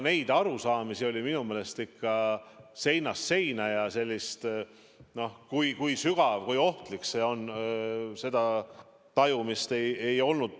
Neid arusaamisi oli minu meelest seinast seina ja sellist tajumist, kui sügav, kui ohtlik see on, ei olnud.